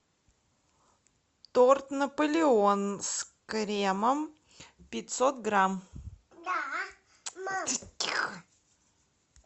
торт наполеон с кремом пятьсот грамм